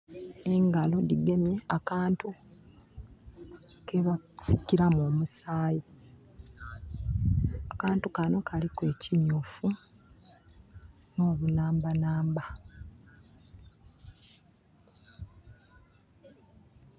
Engalo digemye akantu kebasikiramu omusayi. Akantu kano kaliku ekimyufu no bunambanamba